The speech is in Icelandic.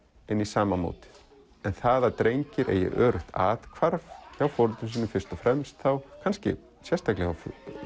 inn í sama mótið en það að drengir eigi öruggt athvarf hjá foreldrum sínum fyrst og fremst kannski sérstaklega hjá